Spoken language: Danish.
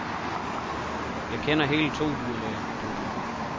Jeg kender hele to dyrlæger. punktum